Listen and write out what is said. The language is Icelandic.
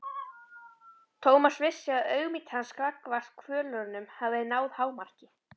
Thomas vissi að auðmýkt hans gagnvart kvölurunum hafði náð hámarki.